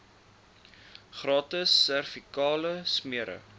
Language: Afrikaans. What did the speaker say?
gratis servikale smere